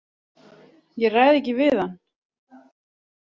Ég ræð ekki við hann.